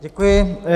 Děkuji.